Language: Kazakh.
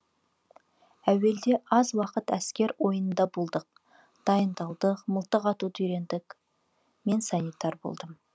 әуелде аз уақыт әскер ойынында болдық дайындалдық мылтық атуды үйрендік мен санитар болдым